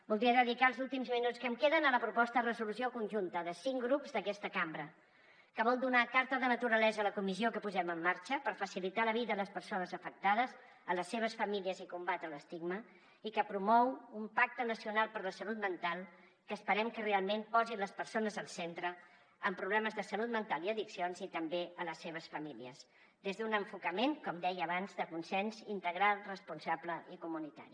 voldria dedicar els últims minuts que em queden a la proposta de resolució conjunta de cinc grups d’aquesta cambra que vol donar carta de naturalesa a la comissió que posem en marxa per facilitar la vida a les persones afectades a les seves famílies i combatre l’estigma i que promou un pacte nacional per la salut mental que esperem que realment posi les persones amb problemes de salut mental i addiccions i també les seves famílies al centre des d’un enfocament com deia abans de consens integral responsable i comunitari